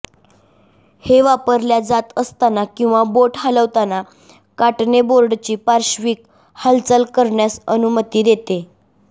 हे वापरल्या जात असताना किंवा बोट हलवताना काटने बोर्डची पार्श्विक हालचाल करण्यास अनुमती देते